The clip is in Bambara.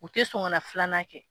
U tɛ son kana filanan kɛ.